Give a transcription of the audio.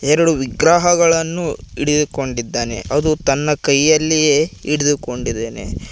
ಎರಡು ವಿಗ್ರಹಗಳನ್ನು ಹಿಡಿದುಕೊಂಡಿದ್ದಾನೆ ಅದು ತನ್ನ ಕೈಯಲ್ಲಿಯೇ ಹಿಡಿದುಕೊಂಡಿದೇನೆ.